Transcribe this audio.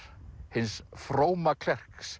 hins fróma